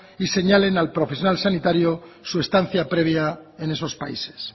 y señalen al profesional sanitario su estancia previa en esos países